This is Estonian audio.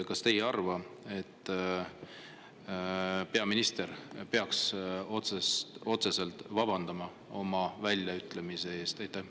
Kas te ei arva, et peaminister peaks otseselt vabandama oma väljaütlemise eest?